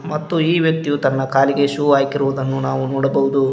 ಮತ್ತು ಈ ವ್ಯಕ್ತಿಯು ತನ್ನ ಕಾಲಿಗೆ ಶೂ ಹಾಕಿರುವುದನ್ನು ನಾವು ನೋಡಬಹುದು.